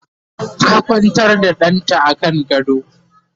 ta Kwantar da ɗanta a kan gado